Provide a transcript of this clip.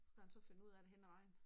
Skulle han så finde ud af det henad vejen